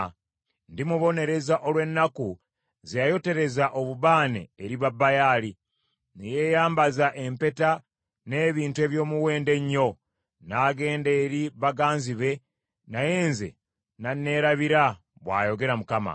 Ndimubonereza olw’ennaku ze yayotereza obubaane eri Babaali, ne yeeyambaza empeta n’ebintu eby’omuwendo ennyo, n’agenda eri baganzi be, naye nze n’aneerabira,” bw’ayogera Mukama .